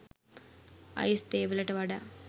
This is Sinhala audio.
අයිස් තේ වලට වඩා